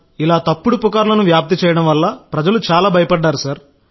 తప్పుడు పుకారును వ్యాప్తి చేయడం వల్ల ప్రజలు చాలా భయపడ్డారు సార్